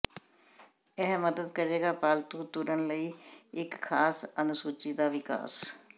ਇਹ ਮਦਦ ਕਰੇਗਾ ਪਾਲਤੂ ਤੁਰਨ ਲਈ ਇੱਕ ਖਾਸ ਅਨੁਸੂਚੀ ਦਾ ਵਿਕਾਸ